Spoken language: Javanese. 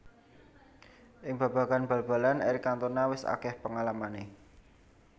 Ing babagan bal balan Eric Cantona wis akeh pengalamane